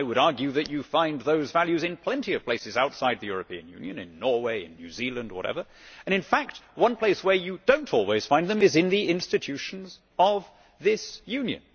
Now I would argue that you find those values in plenty of places outside the European Union in Norway, New Zealand or whatever and in fact one place where you do not always find them is in the institutions of this Union.